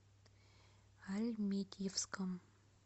альметьевском